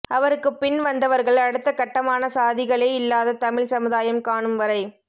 அவருக்குப் பின்வந்தவர்கள் அடுத்தக் கட்டமான சாதிகளே இல்லாத தமிழ்ச் சமுதாயம் காணும் வரை